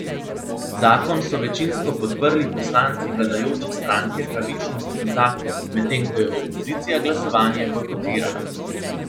Zakon so večinsko podprli poslanci vladajoče stranke Pravičnost in zakon, medtem ko je opozicija glasovanje bojkotirala.